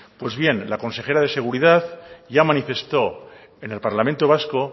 pues bien la consejera de seguridad ya manifestó en el parlamento vasco